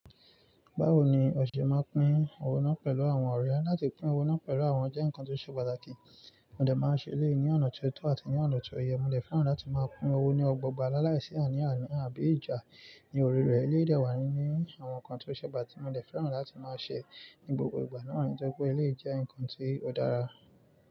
Báwo ni ọ̀ṣẹ̀ máa ń pín owó náà pẹ̀lú àwọn ọ̀rẹ́? Látì pín owó náà pẹ̀lú àwọn jẹ́ ǹkan tó ṣe pàtàkì, mo dẹ̀ máa ń ṣe eléyìí ni ọ̀nà ti o tọ́ àti ní ọ̀nà tó yẹ. Mo dẹ̀ fẹ́ràn láti máa pín owó ní ọgbọọgb lalai, sí àní àní, àbí ìjà ní orí rẹ̀. Bí ó dẹ̀ wáá ní àwọn nǹkan tó ṣe pàtàkì tí mo dẹ̀ fẹ́ràn láti máa ṣe ní gbogbo ìgbà náà, nítorí pé eléyìí jẹ́ nǹkan tó dára.